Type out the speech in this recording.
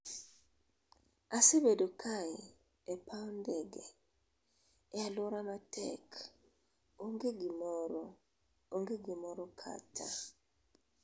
asebedo kae[e paw ndege] e alwora matek, onge gimoro, onge gimoro kata